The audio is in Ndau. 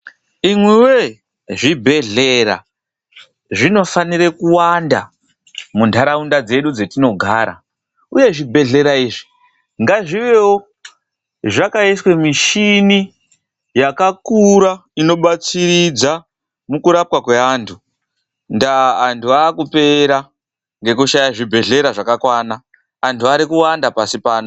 Imi wee! Zvibhedhlera zvinofanire kuwanda muntaraunda dzedu dzetinogara. Uye zvibhedhlera izvi ngazvivewo zvakaiswe mishini yakakura inobatsiridza mukurapwa kweantu, ndaa antu aakupera ngekushaya zvibhedhlera zvakakwana. Antu arikuwanda pasi pano.